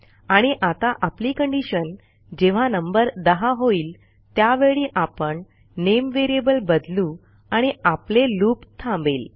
आणि आता आपली कंडिशन जेव्हा नंबर 10होईल त्यावेळी आपण nameव्हेरिएबल बदलू आणि आपले लूप थांबेल